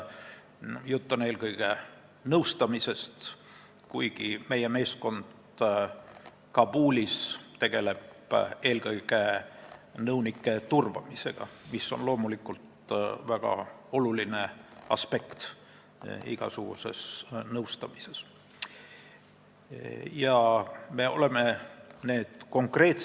Jutt on eelkõige nõustamisest, kuigi meie meeskond Kabulis tegeleb eelkõige nõunike turvamisega, mis on loomulikult igasuguses nõustamises väga oluline aspekt.